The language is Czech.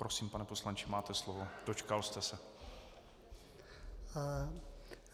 Prosím, pane poslanče, máte slovo, dočkal jste se.